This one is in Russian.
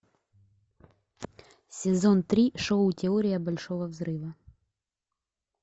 сезон три шоу теория большого взрыва